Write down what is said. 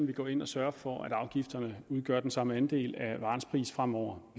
vi går ind og sørger for at afgifterne udgør den samme andel af varens pris fremover